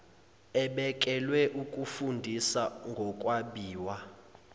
ebekelwe ukufundisa ngokwabiwa